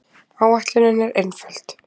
Áætlunin er einföld.